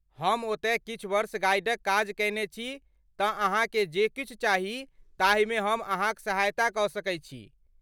हम ओतय किछु वर्ष गाइडक काज कयने छी तँ अहाँके जे किछु चाही ताहिमे हम अहाँक सहायता कऽ सकैत छी।